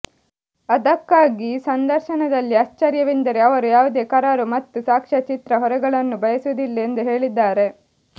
ಅದಕ್ಕಾಗಿ ಸಂದರ್ಶನದಲ್ಲಿ ಆಶ್ಚರ್ಯವೆಂದರೆ ಅವರು ಯಾವುದೇ ಕರಾರು ಮತ್ತು ಸಾಕ್ಷ್ಯಚಿತ್ರ ಹೊರೆಗಳನ್ನು ಬಯಸುವುದಿಲ್ಲ ಎಂದು ಹೇಳಿದ್ದಾರೆ